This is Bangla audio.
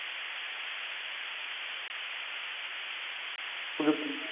পযুক্তি।